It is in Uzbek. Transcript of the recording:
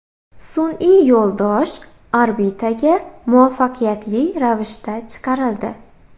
Sun’iy yo‘ldosh orbitaga muvaffaqiyatli ravishda chiqarildi.